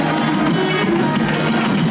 Heydər!